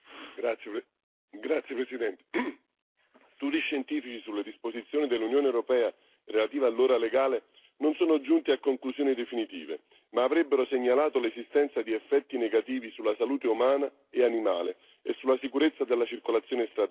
Signora Presidente, onorevoli deputati, studi scientifici sulle disposizioni dell'Unione europea relative all'ora legale non sono giunti a conclusioni definitive ma avrebbero segnalato l'esistenza di effetti negativi sulla salute umana e animale e sulla sicurezza della circolazione stradale.